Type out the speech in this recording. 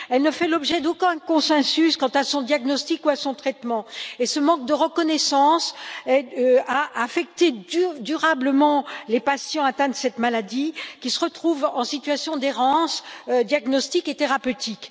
Elle ne fait l'objet d'aucun consensus quant à son diagnostic ou à son traitement. Ce manque de reconnaissance a affecté durablement les patients atteints de cette maladie, qui se retrouvent en situation d'errance diagnostique et thérapeutique.